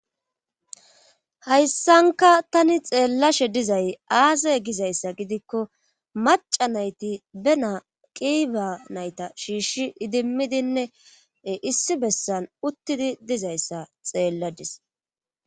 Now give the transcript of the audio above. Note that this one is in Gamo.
hayssanka tani xeellashe dizay aasay gizayssa gidikko maca nayti benaa qiiba nayta shiishi idimmidinne issi bessan uttidi dizayssa xeelladis